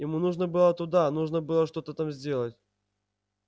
ему нужно было туда нужно было что-то там сделать